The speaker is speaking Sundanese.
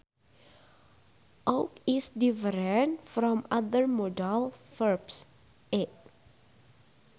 Ought is different from other modal verbs e